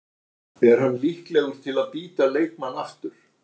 Er hann líklegur til að bíta leikmann aftur?